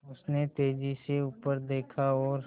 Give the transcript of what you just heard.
उसने तेज़ी से ऊपर देखा और